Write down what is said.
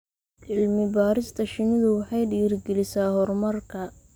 Cilmi-baarista shinnidu waxay dhiirigelisaa horumarka.